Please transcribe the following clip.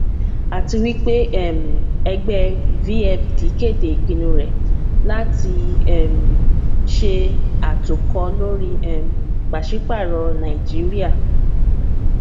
àtiwípé um ẹgbẹ vfd kéde ìpinnu rẹ láti um ṣe àtòkọ lóri um pàṣípààrọ nàìjíríà